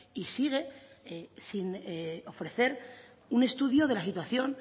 y sigue sin ofrecer un estudio de la situación